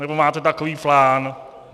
Nebo máte takový plán?